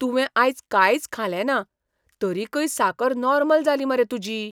तुवें आयज कांयच खालेंना, तरीकय साकर नॉर्मल जाली मरे तुजी!